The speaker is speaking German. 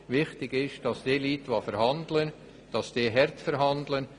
Wichtig ist, dass die Leute, die verhandeln, hart verhandeln.